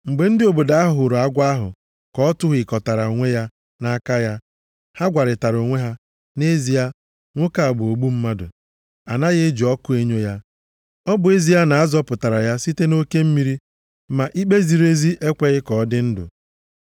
Mgbe ndị obodo ahụ hụrụ agwọ ahụ ka ọ tụhịkọtara onwe ya nʼaka ya, ha gwarịtara onwe ha, “nʼezie a, nwoke a bụ ogbu mmadụ, a naghị eji ọkụ enyo ya. Ọ bụ ezie na azọpụtara ya site oke mmiri, ma ikpe ziri ezi ekweghị ka ọ dị ndụ.”